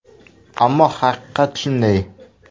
Ammo haqiqat shunday.